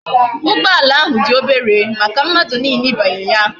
Ugboala ahu di obere maka mmadu niile ibanye